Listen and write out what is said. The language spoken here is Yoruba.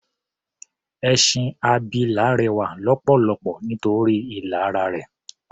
Ẹṣin abilà rẹwà lọ́pọ̀lọpọ̀ nítorí ilà ara rẹ̀.